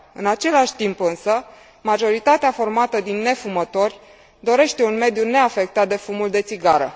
În același timp, însă, majoritatea formată din nefumători dorește un mediu neafectat de fumul de țigară.